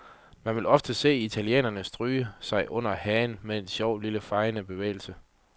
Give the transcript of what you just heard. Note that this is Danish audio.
Man vil ofte se italienere stryge sig selv under hagen med en sjov, lille fejende bevægelse.